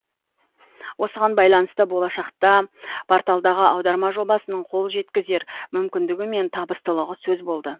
осыған байланысты болашақта порталдағы аударма жобасының қол жеткізер мүмкіндігі мен табыстылығы сөз болды